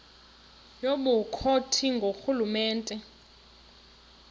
yobukro ti ngurhulumente